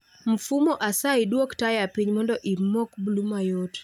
Mfumo asayi dwok taya piny mondo imok bluu mayot